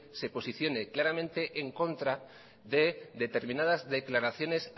se posicione claramente en contra de determinadas declaraciones